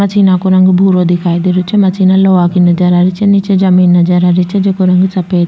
मशीना को रंग भूरो की दिखाई दे रो छ मशीना लोहा की नजर आ रही छे निचे जमीं नजर आ रही छे जेको रंग सफ़ेद --